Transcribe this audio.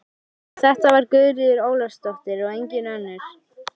Já, þetta var Guðríður Ólafsdóttir og engin önnur!